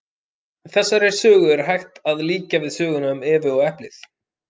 Þessari sögu er hægt að líkja við söguna um Evu og eplið.